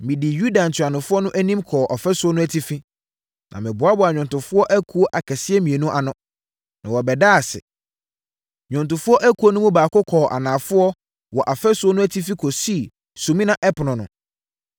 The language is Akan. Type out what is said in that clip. Medii Yuda ntuanofoɔ no anim kɔɔ ɔfasuo no atifi, na meboaboaa nnwomtofoɔ akuo akɛseɛ mmienu ano, ma wɔbɛdaa ase. Nnwontofoɔ ekuo no mu baako kɔɔ anafoɔ wɔ ɔfasuo no atifi kɔsii Sumina Ɛpono no.